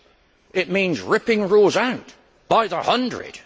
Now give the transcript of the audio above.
It should mean ripping rules out by the hundred.